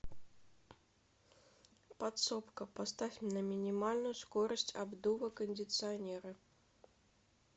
подсобка поставь на минимальную скорость обдува кондиционера